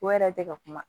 O yɛrɛ tɛ ka kuma